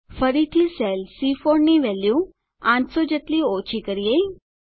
ફરીથી સેલ સી4 ની વેલ્યુ 800 જેટલી ઓછી કરીએ